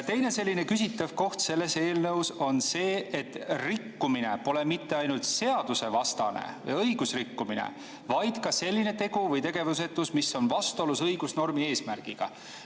Teine selline küsitav koht selles eelnõus on see, et rikkumine pole mitte ainult seadusvastane või õigusrikkumine, vaid ka selline tegu või tegevusetus, mis on vastuolus õigusnormi eesmärgiga.